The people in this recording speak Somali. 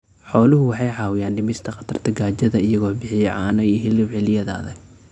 Xooluhu waxay caawiyaan dhimista khatarta gaajada iyagoo bixiya caano iyo hilib xilliyada adag.